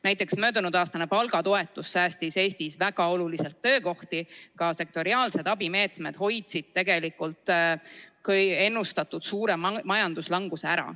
Näiteks möödunudaastane palgatoetus võimaldas Eestis väga olulisel määral töökohti säilitada ja sektoriaalsed abimeetmed hoidsid ennustatud suure majanduslanguse ära.